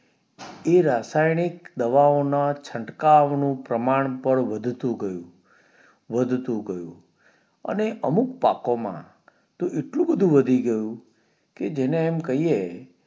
એ રાસાયણિક દવાઓ ના છટકાવ નું પ્રમાણ પણ વધતું ગયું વધતું ગયું અને અમુક પાકો માં તો એટલું બધું વધતું ગયું કે જેને એમ કહીયે